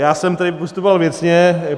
Já jsem tady postupoval věcně.